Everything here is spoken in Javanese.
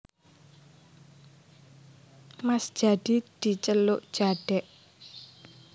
Mas Jadi diceluk Jadèk